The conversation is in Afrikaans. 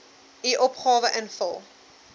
u opgawe invul